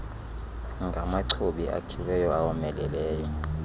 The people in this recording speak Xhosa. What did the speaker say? ngamachobi akhiweyo awomeleleyo